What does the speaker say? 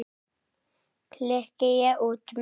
klykki ég út með.